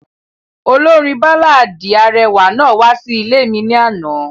Olorin baláàdi arẹwa naa wa si ile mi lana.